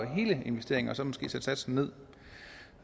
hele investeringen og så måske sætte satsen ned